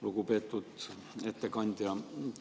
Lugupeetud ettekandja!